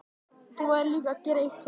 Þú verður líka að gera eitt fyrir mig.